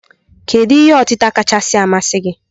Kedu ihe otịta kachasị masị gi?